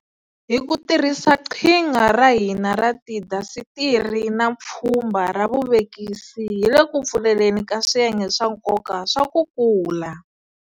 Hi ku tirhisa qhinga ra hina ra tiindasitiri na pfhumba ra vuvekisi hi le ku pfuleleni ka swiyenge swa nkoka swa ku kula.